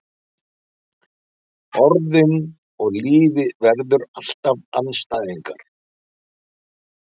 Orðin og lífið verða alltaf andstæðingar.